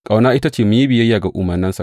Ƙauna, ita ce mu yi biyayya ga umarnansa.